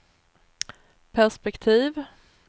perspektiv